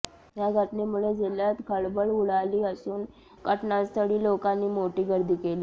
या घटनेमुळे जिल्ह्यात खळबळ उडाली असून घटनास्थळी लोकांनी मोठी गर्दी केली